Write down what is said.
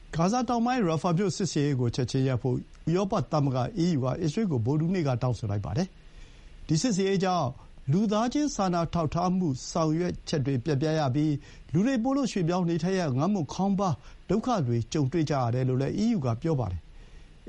ဂါဇာတောင်ပိုင်း ရာဖာမြို့စစ်ဆင်ရေးကို ချက်ချင်းရပ်ဖို့ ဥရောပသမဂ္ဂ အီးယူက အစ္စရေးကို ဗုဒ္ဓဟူးနေ့က တောင်းဆိုလိုက်ပါတယ်။ ဒီစစ်ဆင်ရေးကြောင့် လူသားချင်းစာနာထောက်ထားမှု ဆောင်ရွက်ချက်တွေ ပျက်ပြားရပြီး လူတွေ ပိုလို့ ရွှေ့ပြောင်းနေထိုင်ရ၊ ငတ်မွတ်ခေါင်းပါး၊ ဒုက္ခတွေ ကြုုံတွေ့ကြရတယ်လို့လည်း အီးယူကပြောပါတယ်။